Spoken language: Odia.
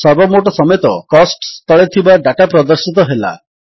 ସର୍ବୋମୋଟ ସମେତ କୋଷ୍ଟସ ତଳେ ଥିବା ଡାଟା ପ୍ରଦର୍ଶିତ ହେଲା